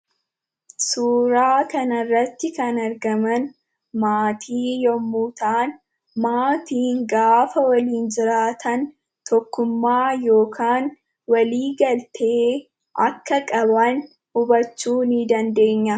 Suuraa kanarratti kan argaman maatii yommuu ta'an, maatiin gaafa waliin jiraatan tokkummaa yookaan walii galtee akka qaban hubachuu ni dandeenya.